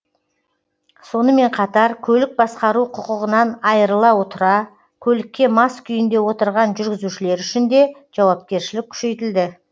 сонымен қатар көлік басқару құқығынан айырыла отұра көлікке мас күйінде отырған жүргізушілер үшін де жауапкершілік күшейтілді